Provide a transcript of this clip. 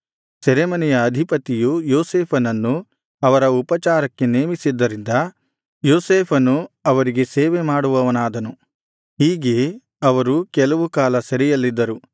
ಸೆರೆಮನೆಯ ಅಧಿಪತಿಯು ಯೋಸೇಫನನ್ನು ಅವರ ಉಪಚಾರಕ್ಕೆ ನೇಮಿಸಿದ್ದರಿಂದ ಯೋಸೇಫನು ಅವರಿಗೆ ಸೇವೆ ಮಾಡುವವನಾದನು ಹೀಗೆ ಅವರು ಕೆಲವು ಕಾಲ ಸೆರೆಯಲ್ಲಿದ್ದರು